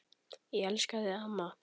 Ég elska þig, amma.